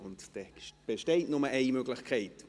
dann besteht nur eine Möglichkeit.